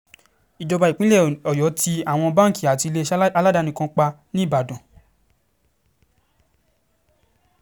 ìjọba ìpínlẹ̀ ọ̀yọ́ tí àwọn báńkì àti iléeṣẹ́ aládàáni kan pa nìbàdàn